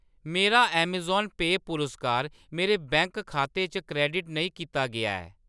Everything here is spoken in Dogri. मेरा अमेज़ॉन पेऽ पुरस्कार मेरे बैंक खाते च क्रैडिट नेईं कीता गेआ ऐ।